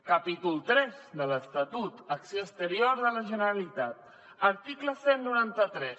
capítol iii de l’estatut acció exterior de la generalitat article cent i noranta tres